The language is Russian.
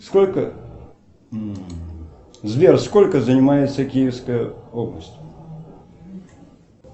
сколько сбер сколько занимается киевская область